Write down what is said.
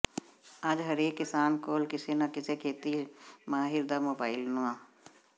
ਅੱਜ ਹਰੇਕ ਕਿਸਾਨ ਕੋਲ ਕਿਸੇ ਨਾਂ ਕਿਸੇ ਖੇਤੀ ਮਾਹਿਰ ਦਾ ਮੋਬਾਇਲ ਨੰ